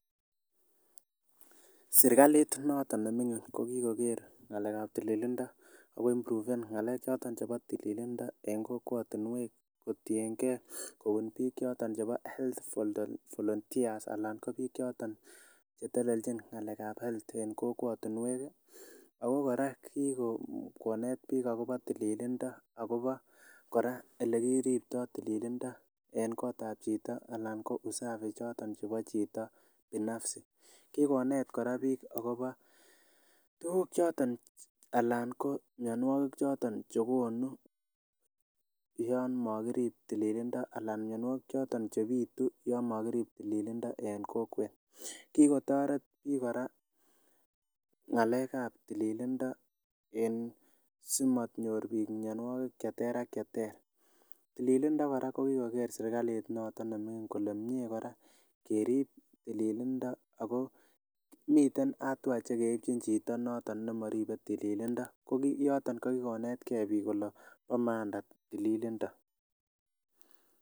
Serikalit noton neming'in ko kikoker ng'alekab tililindo ak ko impruven nggalek choton chebo tililindo en kokwotinnwek kotieng'e kobun biik choton chebo health volunteer anan ko biik choton chetelelchin ng''alekab health en kokwotinwek ak ko kora kikonet biik akobo tiililindo ak kobo kora elekiribto tililindo en kootab chito alaan ko usafi choton chebo chito binafsi kikonet kora biik ak kobo tukuk choton alaan mionwokik choton chekonu yoon mokirib tililindo alaan mionwokik choton chebitu yoon mokirib tililindo en kokwet, kikotoret biik kora ngalekab tililindo en simonyor biik mionwokik cheter ak cheter, tililindo kora ko kikoker serikalit noton neming'in kolee miee kora kerib tililindo ak ko miten [cs[ hatua chekeibjin chito noton nemoribe tililindo, kokiyoton ko kikonetke biik kolee bo maana tililindo.